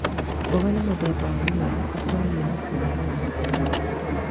Mboga nĩ mũthemba wa mũmera ũkũragio na kũrĩo umĩte na mũgũnda.